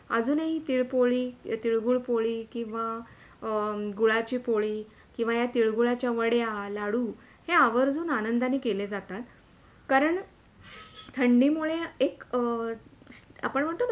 आजून ही तीळपुळी, तीलगुळ पोळी किंवा अं गुळाची पोळी किंवा या तीळगुळाच्या वड्या, लाडू हे आवर्जून आनंदाने केल्या जातात कारण थंडी मुळे एक अं आपण म्हणतो ना